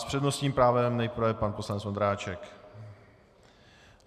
S přednostním právem nejprve pan poslanec Vondráček.